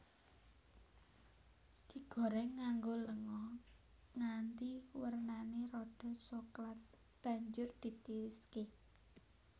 Digoreng nganggo lenga nganti wernane rada soklat banjur ditiriske